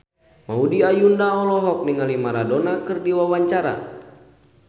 Maudy Ayunda olohok ningali Maradona keur diwawancara